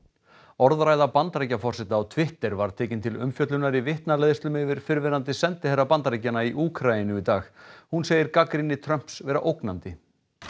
orðræða Bandaríkjaforseta á Twitter var tekin til umfjöllunar í vitnaleiðslum yfir fyrrverandi sendiherra Bandaríkjanna í Úkraínu í dag hún segir gagnrýni Trumps vera ógnandi